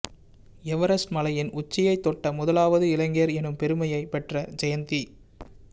Everest மலையின் உச்சியைத் தொட்ட முதலாவது இலங்கையர் எனும் பெருமையைப் பெற்ற ஜயந்தி